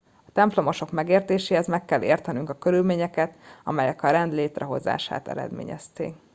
a templomosok megértéséhez meg kell értenünk a körülményeket amelyek a rend létrehozását eredményezték